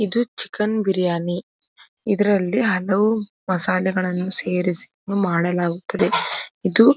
ಇದು ಚಿಕನ್ ಬಿರಿಯಾನಿ ಇದ್ರಲ್ಲಿ ಹಲವು ಮಸಾಲೆಗಳನ್ನು ಸೇರಿಸಿ ಮಾಡಲಾಗುತ್ತದೆ ಇದು --